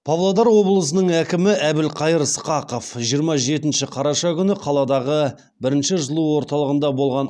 павлодар облысының әкімі әбілқайыр сқақов жиырма жетінші қараша күні қаладағы бірінші жылу орталығында болған